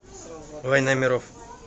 война миров